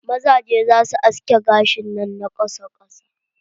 Mazajen za su haske gashin su na ƙasa ƙasa.